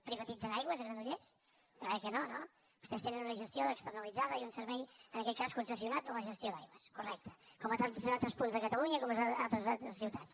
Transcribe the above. privatitzen aigües a granollers jo crec que no no vostès tenen una gestió externalitzada i un servei en aquest cas concessionat de la gestió d’aigües correcte com a tants altres punts de catalunya i com a tantes altres ciutats